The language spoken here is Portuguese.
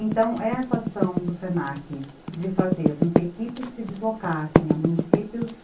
Então, essa ação do se na que de fazer com que equipes se deslocassem a municípios